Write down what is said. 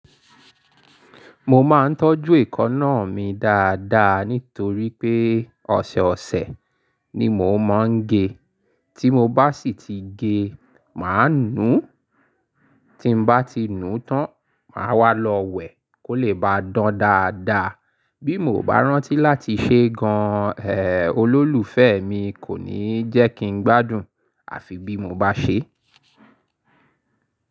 Mo máa ń tọ́jú èékánná mi dáadáa nítorí pé ọ̀sẹ̀ ọ̀sẹ̀ ni mo máa ń gé. Tí mo bá sì ti gé, màá nu. Tí n bá ti nùú tán, màá wàá lọ wẹ̀ kó lè ba dán dáadáa. Bí mo ò bá rántí láti ṣe gan an, eh, olólùfẹ́ mi kò ní jẹ́ kí n gbádùn, àfi bí mo bá ṣe.